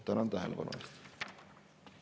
Tänan tähelepanu eest!